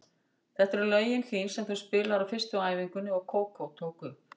Þetta eru lögin þín sem þú spilaðir á fyrstu æfingunni og Kókó tók upp.